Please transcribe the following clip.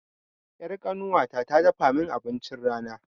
Ƴar ƙanuwata ta dafa mun abincin rana